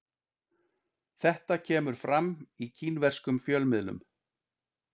Þetta kemur fram í kínverskum fjölmiðlum